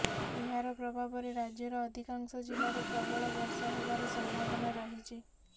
ଏହାର ପ୍ରଭାବରେ ରାଜ୍ୟର ଅଧିକାଂଶ ଜିଲ୍ଲାରେ ପ୍ରବଳ ବର୍ଷା ହେବାର ସମ୍ଭାବନା ରହିଛି